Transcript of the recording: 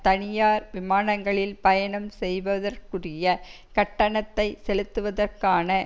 தனியார் விமானங்களில் பயணம் செய்வதற்குரிய கட்டணத்தை செலுத்துவதற்கான